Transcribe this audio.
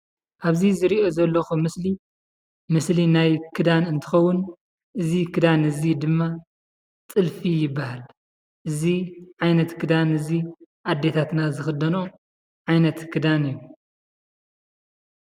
አብዚ ዝሪኦ ዘለኩ ምስሊ፣ ምስሊ ናይ ክዳን እንትኸውን፤ እዚ ክዳን እዚ ድማ ጥልፊ ይበሃል፡፡ እዚ ዓይነት ክዳን እዚ አዴታትና ዝክደንኦ ዓይነት ክዳን እዩ፡፡